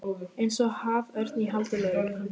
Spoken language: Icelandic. Eins og haförn í haldi lögreglu.